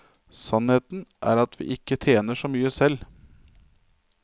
Sannheten er at vi ikke tjener så mye selv.